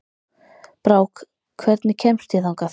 Brák, hvernig kemst ég þangað?